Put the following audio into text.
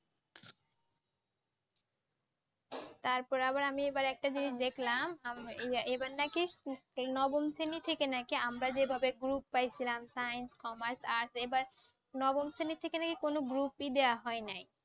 তারপরে আবার আমি এবার একটা জিনিস দেখলাম এ~ এবার নাকি এই নবম শ্রেণি থেকে নাকি আমরা যেভাবে group wise ছিলাম science, commerce, arts এবার নবম শ্রেণি থেকে নাকি কোনও group ই দেওয়া হয় নাই।